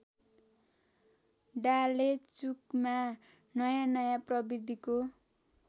डालेचुकमा नयाँनयाँ प्रविधिको